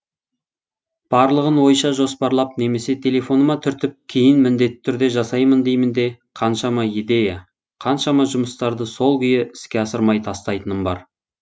барлығын ойша жоспарлап немесе телефоныма түртіп кейін міңдетті түрде жасаймын деймін де қаншама идея қаншама жұмыстарды сол күйі іске асырмай тастайтыным бар